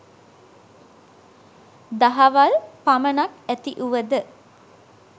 දහවල් පමණක් ඇතිවුවද